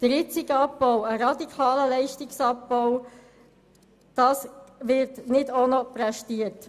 Der jetzige Abbau, der radikale Leistungsabbau, wird nicht auch noch verkraftet.